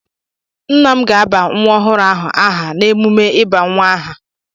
Nna m ga-àbà nwa ọhụrụ ahụ aha n'emume ịba nwa aha.